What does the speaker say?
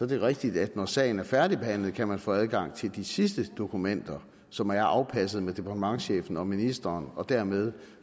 det rigtigt at når sagen er færdigbehandlet kan man få adgang til de sidste dokumenter som er afpasset med departementschefen og ministeren og dermed